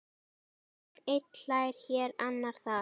Einn hlær hér, annar þar.